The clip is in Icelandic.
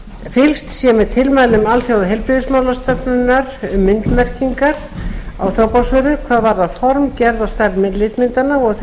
fylgst sé með tilmælum alþjóðaheilbrigðismálastofnunarinnar um myndmerkingar á tóbaksvörum hvað varðar form gerð og stærð litmyndanna og þau